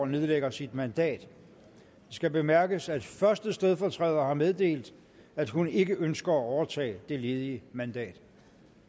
nedlægger sit mandat det skal bemærkes at første stedfortræder har meddelt at hun ikke ønsker at overtage det ledige mandat